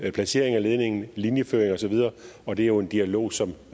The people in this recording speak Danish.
placeringen af ledningen linjeføringen og så videre og det er jo en dialog som